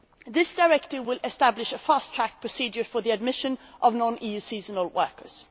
This directive will establish a fast track procedure for the admission of non EU seasonal workers.